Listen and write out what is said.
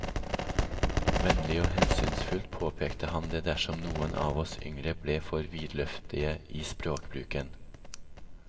Vennlig og hensynsfullt påpekte han det dersom noen av oss yngre ble for vidløftige i språkbruken.